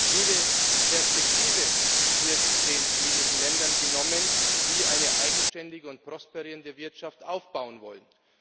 Jede Perspektive wird denjenigen Ländern genommen, die eine eigenständige und prosperierende Wirtschaft aufbauen wollen.